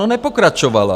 No nepokračovala.